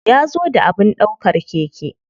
Ya zo da abin ɗaukar keke.